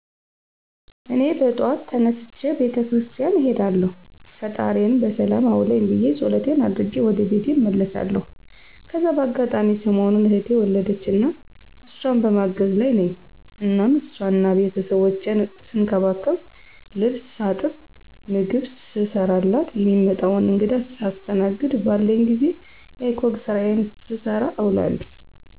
እኔ በጠዋት ተነስቼ ቤተ ክርስቲያን እሄዳለሁ ፈጣሪየን በሰላም አዉለኝ ብየ ፀሎቴን አድርጌ ወደ ቤቴ እመለሳለሁ። ከዚያ በአጋጣሚ ሰሞኑን እህቴ ወለደችና እሷን በማገዝ ላይ ነኝ እናም ሷንና ቤተሰቦቿን ስንከባከብ፣ ልብስ ሳጥብ፣ ምግብ ስሰራላት፣ የሚመጣዉን እንግዳ ሳስተናግድ፣ ባለኝ ጊዜ የiCog ስራየን ስሰራ እዉላለሁ።